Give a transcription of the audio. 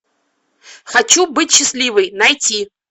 хочу быть счастливой найти